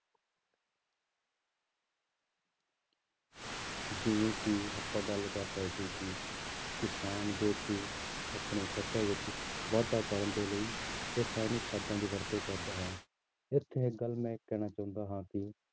ਜਿਵੇਂ ਕਿ ਆਪਾਂ ਗੱਲ ਕਰ ਰਹੇ ਸੀ ਕਿ ਕਿਸਾਨ ਜੋ ਕਿ ਆਪਣੀ ਫ਼ਸਲ ਵਿੱਚ ਵਾਧਾ ਕਰਨ ਦੇ ਲਈ ਰਸਾਇਣਿਕ ਖਾਦਾਂ ਦੀ ਵਰਤੋਂ ਕਰਦਾ ਹੈ ਉੱਥੇ ਇੱਕ ਗੱਲ ਮੈਂ ਕਹਿਣਾ ਚਾਹੁੰਦਾ ਹਾਂ ਕਿ